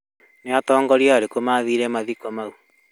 Nĩ atongoria arĩkũ mathire mathiko mau